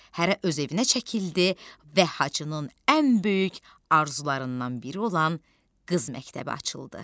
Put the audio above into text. Hərə öz evinə çəkildi və Hacının ən böyük arzularından biri olan qız məktəbi açıldı.